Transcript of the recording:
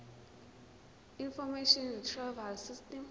information retrieval system